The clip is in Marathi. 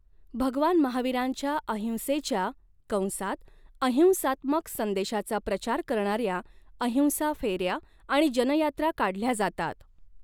भगवान महावीरांच्या अहिंसेच्या कंसात अहिंसात्मक संदेशाचा प्रचार करणाऱ्या अहिंसा फेऱ्या आणि जनयात्रा काढल्या जातात.